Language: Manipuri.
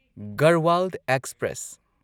ꯒꯔꯍꯋꯥꯜ ꯑꯦꯛꯁꯄ꯭ꯔꯦꯁ